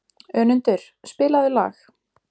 Önundur, spilaðu lag.